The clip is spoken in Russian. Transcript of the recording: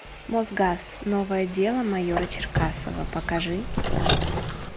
мосгаз новое дело майора черкасова покажи